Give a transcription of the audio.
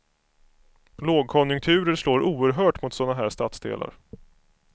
Lågkonjunkturer slår oerhört mot sådana här stadsdelar.